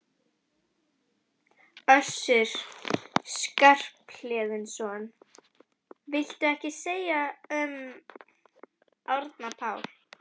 Össur Skarphéðinsson: Viltu ekkert segja um Árna Pál?